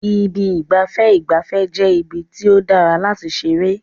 Ibi ìgbafẹ́ ìgbafẹ́ jẹ́ ibi tí ó dára láti ṣeré.